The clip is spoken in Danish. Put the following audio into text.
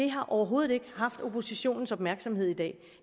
har overhovedet ikke haft oppositionens opmærksomhed i dag